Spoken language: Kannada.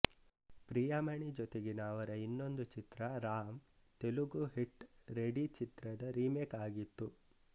ಪ್ರಿಯಾಮಣಿ ಜೊತೆಗಿನ ಅವರ ಇನ್ನೊಂದು ಚಿತ್ರ ರಾಮ್ ತೆಲುಗು ಹಿಟ್ ರೆಡಿ ಚಿತ್ರದ ರಿಮೇಕ್ ಆಗಿತ್ತು